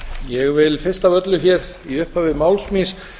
ég vil fyrst af öllu hér í upphafi máls míns